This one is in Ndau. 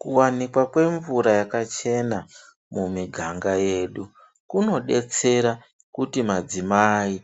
Kuwanikwa kwemvura yakachena mumiganga yedu kunodetsera kuti madzimai